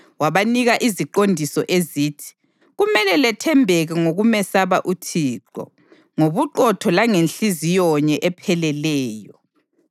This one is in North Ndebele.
Wabanika iziqondiso ezithi: “Kumele lethembeke ngokumesaba uThixo, ngobuqotho langenhliziyo nye epheleleyo.